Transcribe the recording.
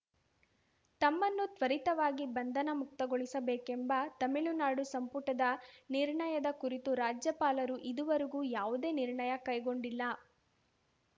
ತಮ್ಮನ್ನು ತ್ವರಿತವಾಗಿ ಬಂಧನ ಮುಕ್ತಗೊಳಿಸಬೇಕೆಂಬ ತಮಿಳುನಾಡು ಸಂಪುಟದ ನಿರ್ಣಯದ ಕುರಿತು ರಾಜ್ಯಪಾಲರು ಇದುವರೆಗೂ ಯಾವುದೇ ನಿರ್ಣಯ ಕೈಗೊಂಡಿಲ್ಲ